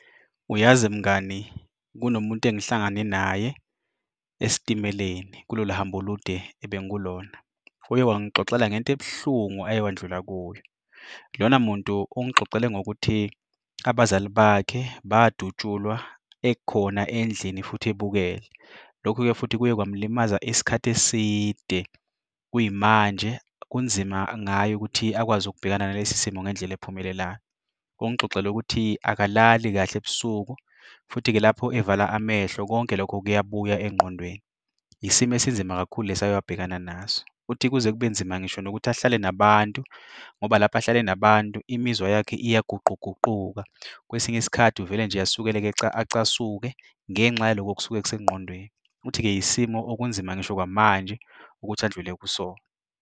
Uyazi mngani, kunomuntu engihlangane naye esitimeleni kulolu hambo olude ebengikulona. Uye wangixoxela ngento ebuhlungu aye wandlula kuyo. Lona muntu ungixoxele ngokuthi abazali bakhe badutshulwa ekhona endlini futhi ebukele. Lokhu-ke futhi kuye kwamlimaza isikhathi eside. Kuyimanje kunzima ngayo ukuthi akwazi ukubhekana nalesi simo ngendlela ephumelelayo. Ungixoxela ukuthi akalali kahle ebusuku, futhi-ke lapho evala amehlo konke lokho kuyabuya engqondweni. Yisimo esinzima kakhulu lesi ake abhekana naso. Uthi kuze kube nzima ngisho nokuthi ahlale nabantu ngoba lapho ahlale nabantu imizwa yakhe iyaguquguquka, kwesinye isikhathi uvele nje asukeleke acasuke ngenxa yaloko okusuka kusengqondweni. Uthi-ke yisimo okunzima ngisho kwamanje ukuthi andlule kusona.